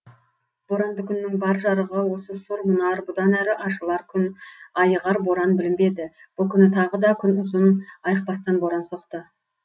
боранды күннің бар жарығы осы сұр мұнар бұдан әрі ашылар күн айығар боран білінбеді бұл күні тағы да күн ұзын айықпастан боран соқты